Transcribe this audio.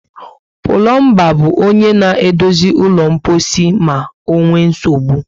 Plombar bu onye na edozi ụlọ mposi ma onwee nsogbụ